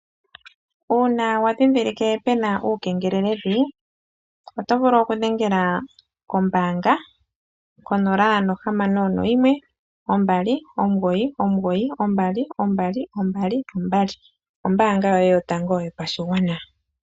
Uuna wa ndhindhilike pena uukengeleledhi, oto vulu oku dhengela kombaanga, konola nohamano noyimwe, ombali, omugoyi, omugoyi, noombali yeli yane. Ombaanga yoye yotango yo pashigwana.